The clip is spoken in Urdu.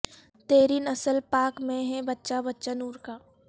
تیری نسل پاک میں ہے بچہ بچہ نور کا